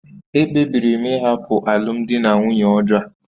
Ekpebiri m ịhapụ alụmdi na nwunye ọjọọ a